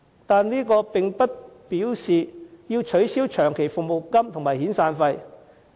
但是，這並不表示要取消長期服務金和遣散費。